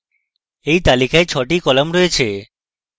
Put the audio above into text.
এই তালিকায় ছটি কলাম রয়েছে